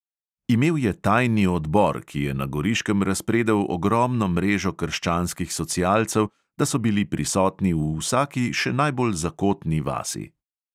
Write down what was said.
Imel je tajni odbor, ki je na goriškem razpredel ogromno mrežo krščanskih socialcev, da so bili prisotni v vsaki še najbolj zakotni vasi.